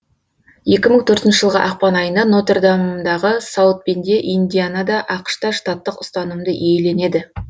екі мың төртінші жылғы ақпан айына нотер дамадағы саут бенде индианада ақш та штаттық ұстанымды иеленеді